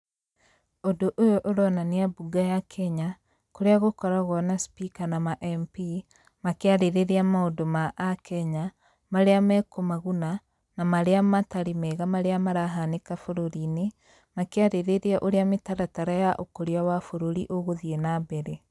Ũndũ ũyũ ũronania bunge ya Kenya, kũrĩa gũkoragwo na spika na ma mp,makĩarĩrĩria maũndũ ma a kenya, marĩa mekũmaguna, na marĩa matarĩ mega marĩa marahanĩka bũrũriinĩ, makĩarĩrĩria ũrĩa mĩtaratara ya ũkũria wa bũrũri ũgũthiĩ na mbere.